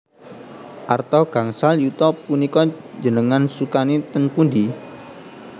Arta gangsal yuta punika njenengan sukani teng pundi?